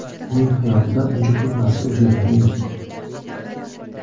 Uning hayotida uncha ko‘p narsa o‘zgargani yo‘q.